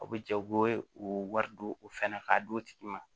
A bɛ jɛ u bɛ u wari don u fɛn na k'a d'u tigi ma